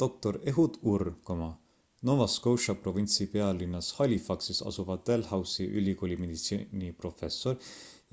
dr ehud ur nova scotia provintsi pealinnas halifaxis asuva dalhousie ülikooli meditsiiniprofessor